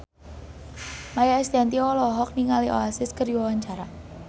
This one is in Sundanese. Maia Estianty olohok ningali Oasis keur diwawancara